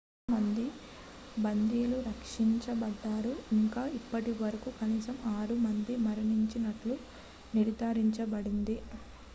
చాలా మంది బందీలు రక్షించబడ్డారు ఇంకా ఇప్పటివరకు కనీసం 6 మంది మరణించినట్లు నిర్ధారించబడింది